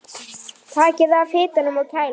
Takið af hitanum og kælið.